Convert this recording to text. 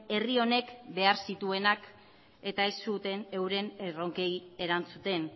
herri honek behar zituenak eta ez zuten euren erronkei erantzuten